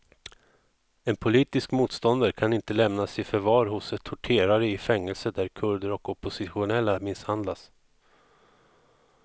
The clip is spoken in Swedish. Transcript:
En politisk motståndare kan inte lämnas i förvar hos torterare i fängelser där kurder och oppositionella misshandlas.